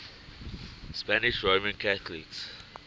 spanish roman catholics